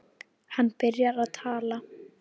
Hann byrjar að tala.